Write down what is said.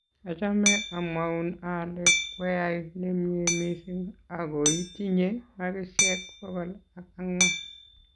Achame amwoun ale kweyai nemie mising akoitinye makisiek bokol ak angwan